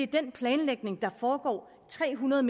den planlægning der foregår tre hundrede